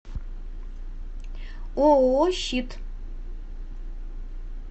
ооо щит